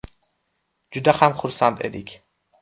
Juda ham xursand edik.